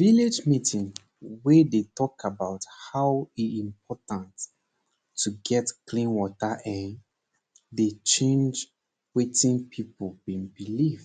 village meeting wey dey talk about how e dey important to get clean water[um]dey change wetin pipo bin believe